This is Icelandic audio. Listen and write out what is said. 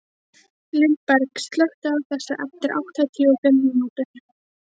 Lindberg, slökktu á þessu eftir áttatíu og fimm mínútur.